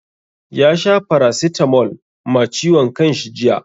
Ya sha paracetamol ma ciwon kanshi jiya.